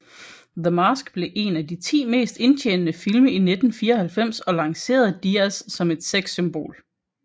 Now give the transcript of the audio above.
The Mask blev en af de 10 mest indtjenende film i 1994 og lancerede Diaz som et sexsymbol